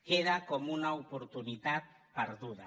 queda com una oportunitat perduda